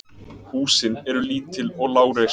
Húsin eru lítil og lágreist.